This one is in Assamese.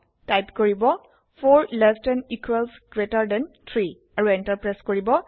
টাইপ কৰিব 4 less than equals greater than 3 আৰু এন্টাৰ প্ৰেছ কৰিব